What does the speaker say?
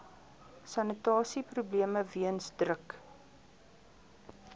sanitasieprobleme weens druk